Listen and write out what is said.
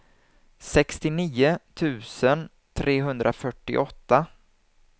sextionio tusen trehundrafyrtioåtta